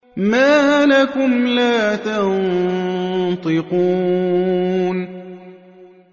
مَا لَكُمْ لَا تَنطِقُونَ